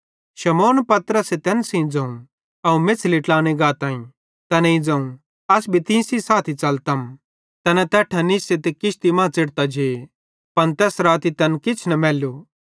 शमौन पतरसे तैन सेइं ज़ोवं अवं मेछ़ली ट्लाने गाताईं तैनेईं ज़ोवं अस भी तीं साथी च़लतम तैना तैट्ठां निस्से ते किश्ती मां च़ेढ़तां जे पन तैस राती तैन किछ न मैलू